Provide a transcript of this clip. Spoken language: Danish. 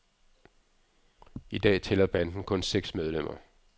I dag tæller banden kun seks medlemmer.